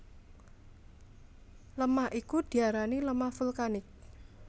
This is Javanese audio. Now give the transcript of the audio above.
Lemah iku diarani lemah vulkanik